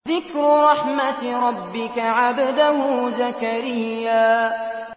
ذِكْرُ رَحْمَتِ رَبِّكَ عَبْدَهُ زَكَرِيَّا